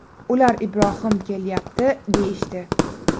Ular ‘Ibrohim kelyapti’ deyishdi.